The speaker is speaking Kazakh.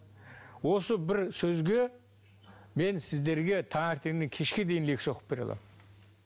осы бір сөзге мен сіздерге таңертеңнен кешке дейін лекция оқып бере аламын